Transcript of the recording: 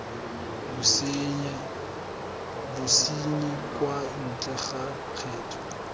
bosenyi kwa ntle ga kgetho